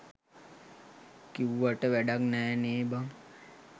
කිව්වට වැඩක් නෑ නේ බන්